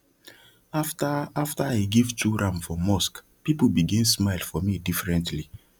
after after i give two ram for mosque people begin smile for me differently